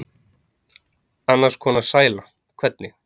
Annars konar sæla, hvernig?